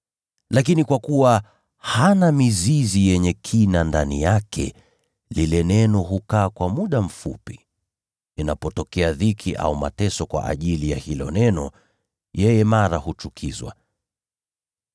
Lakini kwa kuwa hana mizizi yenye kina ndani yake, lile neno hudumu kwa muda mfupi tu. Kisha dhiki au mateso yanapoinuka kwa ajili ya lile neno, yeye mara huchukizwa.